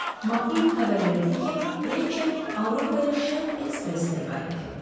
MacQueen xəbər verdi ki, Rachet Avropaya Şərq Expressi ilə qayıdacaq.